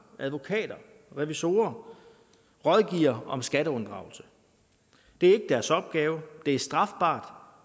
advokater og revisorer rådgiver om skatteunddragelse det er ikke deres opgave det er strafbart